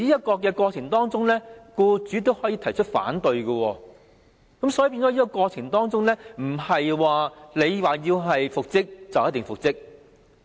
在這過程中，僱主可以提出反對，而不是僱員要求復職便一定能夠復職。